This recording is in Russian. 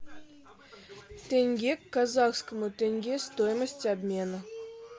тенге к казахскому тенге стоимость обмена